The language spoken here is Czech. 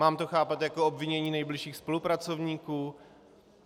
Mám to chápat jako obvinění nejbližších spolupracovníků?